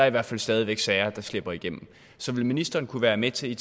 i hvert fald stadig væk sager der slipper igennem så vil ministeren kunne være med til